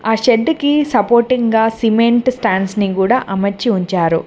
ఆ షెడ్డు కి సపోర్టింగ్ గా సిమెంట్ స్టాండ్స్ ని గూడా అమర్చి ఉంచారు.